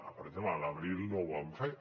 per exemple a l’abril no ho van fer